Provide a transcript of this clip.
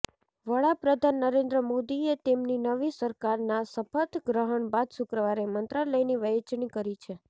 વડાપ્રધાન નરેન્દ્ર મોદીએ તેમની નવી સરકારના શપથ ગ્રહણ બાદ શુક્રવારે મંત્રાલયની વહેંચણી કરી છે